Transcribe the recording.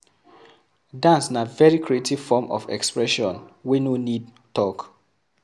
Dance na very creative form of expression wey no need talk